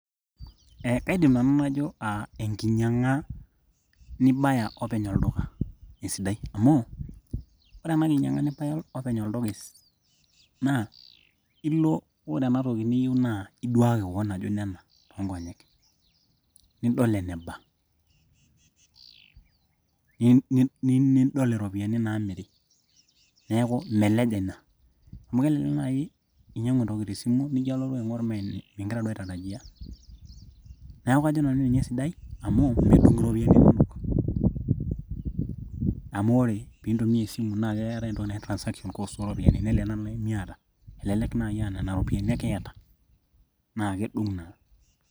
Ee, kaidim nanu najo aa enkinyiang'a nibaya openy olduka esidai amu ore enakinyiang'a nibaya openy oltuka naa ilo ore ena toki niyieu naa iduaaki keon ajo nena toonkonyek nidol eneba niidol iropiyiani naamiri neeku imeleja ina amu kelelek naaji inyiang'u entoki tesimu nijio alotu aing'or mingira duo aitarajia neeku kajo nanu ninye esidai amu medung iropiyiani kumok amu ore piindumia esimu naa keetai entoki naji transactions cost ooropiyiani nelelek naaji miata elelek naai aanena ropiyiani ake iyata naa kedung naa.